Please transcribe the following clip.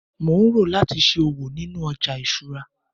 mo n ro lati ṣe òwò ninu oja isura